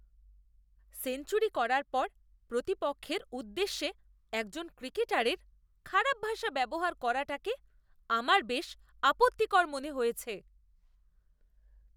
Century করার পর প্রতিপক্ষের উদ্দেশ্যে একজন ক্রিকেটারের খারাপ ভাষা ব্যবহার করাটাকে আমার বেশ আপত্তিকর মনে হয়েছে।